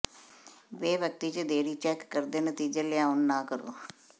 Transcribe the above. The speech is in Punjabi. ਬੇਵਕਤੀ ਜ ਦੇਰੀ ਚੈੱਕ ਕਰਦੇ ਨਤੀਜੇ ਲਿਆਉਣ ਨਾ ਕਰੋ